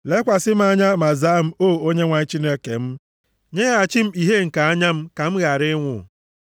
Lekwasị m anya, ma zaa m, O Onyenwe anyị Chineke m. Nyeghachi m ìhè nke anya m ka m ghara ịnwụ;